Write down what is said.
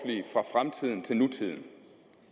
men til nutiden